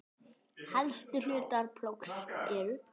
Helstu hlutar plógs eru